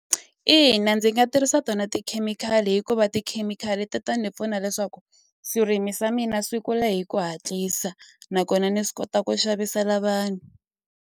Ina ndzi nga tirhisa tona tikhemikhali hikuva tikhemikhali ti ta ni pfuna leswaku swirimi swa mina swi kula hi ku hatlisa nakona ni swi kota ku xavisela vanhu.